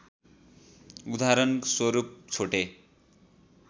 उदाहरण स्वरूप छोटे